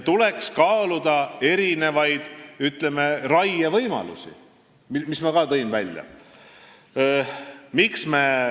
Tuleks kaaluda erinevaid raievõimalusi, mis ma ka välja tõin.